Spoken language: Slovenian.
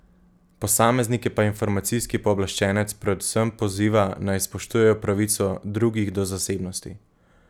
Posameznike pa informacijski pooblaščenec predvsem poziva, naj spoštujejo pravico drugih do zasebnosti.